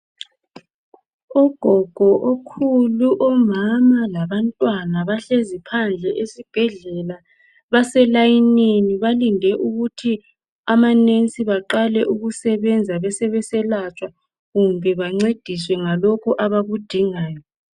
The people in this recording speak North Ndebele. Ogogo, okhulu, omama labantwana bahlezi phandle esibhedlela baselayinini balinde ukuthi ama "nurse" baqale ukusebenza besebe selatshwa kumbe bancediswe ngalokho abakudingayo.